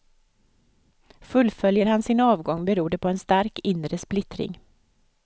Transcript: Fullföljer han sin avgång beror det på en stark inre splittring.